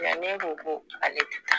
Yannen ko ko ale te taa